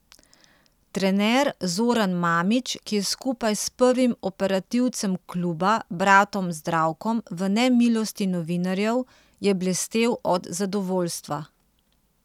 Trener Zoran Mamić, ki je skupaj s prvim operativcem kluba, bratom Zdravkom, v nemilosti novinarjev, je blestel od zadovoljstva.